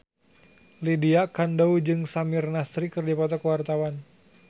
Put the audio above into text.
Lydia Kandou jeung Samir Nasri keur dipoto ku wartawan